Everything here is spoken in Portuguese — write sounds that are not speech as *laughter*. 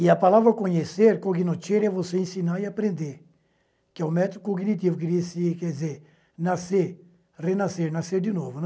E a palavra conhecer, *unintelligible* é você ensinar e aprender, que é o método cognitivo, *unintelligible* quer dizer, nascer, renascer, nascer de novo, né.